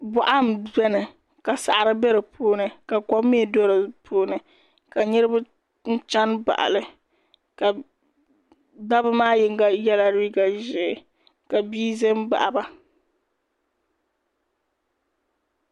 boɣa n biɛni ka saɣari bɛ di puuni ka kom mii do di puuni ka niraba chɛni baɣali ka dabba maa yinga yɛla liiga ʒiɛ ka bia ʒɛ n baɣaba